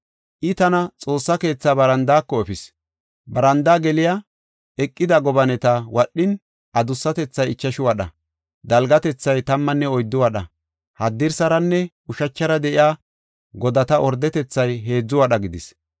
I tana Xoossa keetha barandaako efis. Barandaa geliya bessan eqida gobaneta13 wadhin, adussatethay ichashu wadha; dalgatethay tammanne oyddu wadha. Haddirsaranne ushachara de7iya godata ordetethay heedzu wadha gidis.